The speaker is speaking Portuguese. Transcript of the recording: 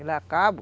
Ele é cabo.